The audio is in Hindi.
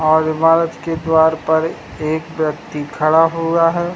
और इमारत के द्वार पर एक व्यक्ति खड़ा हुआ है।